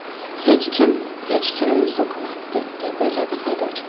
Hech kim hech kimni so‘kmayapti”, deb yozadi haydovchi.